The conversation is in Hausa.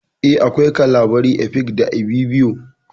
Eh, akwai Kalabari, Efik, da Ibibio